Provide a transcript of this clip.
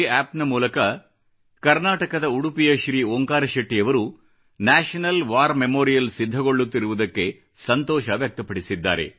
NarendraModiApp ಗೆ ಕರ್ನಾಟಕದ ಉಡುಪಿಯ ಶ್ರೀ ಓಂಕಾರ ಶೆಟ್ಟಿಯವರು ನ್ಯಾಷನಲ್ ವಾರ್ ಮೆಮೋರಿಯಲ್ ಸಿದ್ಧಗೊಳ್ಳುತ್ತಿರುವುದಕ್ಕೆ ಸಂತೋಷ ವ್ಯಕ್ತಪಡಿಸಿದ್ದಾರೆ